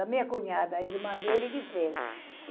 A minha cunhada, a irmã dele que fez.